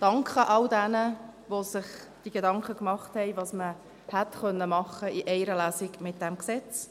Ich danke all jenen, die sich Gedanken gemacht haben, was man mit diesem Gesetz in einer Lesung hätte machen können.